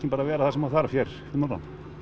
vera það sem þarf hérna fyrir norðan